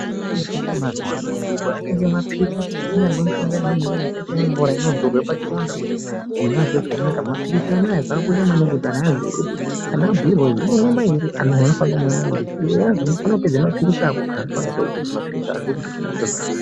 Kune mishonga ye mazuvano yakange mapirisi kunyangwe mishonga iya yakaite ye mvura ino zorwa pachironda kuti munhu anzwe zvakanaka mapirisi anaya zvaka kosha maningi kuti aziye kuti kana abhuyirwa kuti unomwa maiiri uyazi unofana kupedza mapirisi ako anhu anofana kuziya kupedza mapirisi ako kuti munhu anzwe zvakanaka.